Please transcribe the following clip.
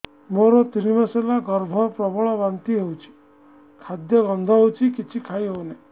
ମୋର ତିନି ମାସ ହେଲା ଗର୍ଭ ପ୍ରବଳ ବାନ୍ତି ହଉଚି ଖାଦ୍ୟ ଗନ୍ଧ ହଉଚି କିଛି ଖାଇ ହଉନାହିଁ